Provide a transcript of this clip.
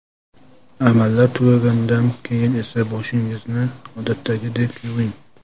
Amallar tugagandan keyin esa boshingizni odatdagidek yuving.